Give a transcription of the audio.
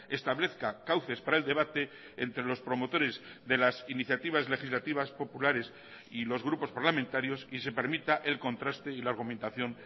establezca cauces para el debate entre los promotores de las iniciativas legislativas populares y los grupos parlamentarios y se permita el contraste y la argumentación